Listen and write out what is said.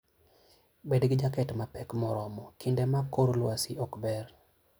Bed gi jaket mapek moromo kinde ma kor lwasi ok ber.